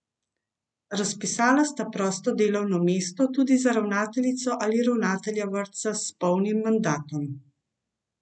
Razpisala sta prosto delovno mesto tudi za ravnateljico ali ravnatelja vrtca s polnim mandatom.